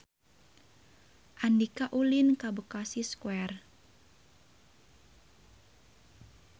Andika ulin ka Bekasi Square